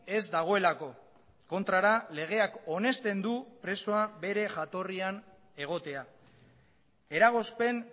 ez dagoelako kontrara legeak onesten du presoa bere jatorrian egotea eragozpen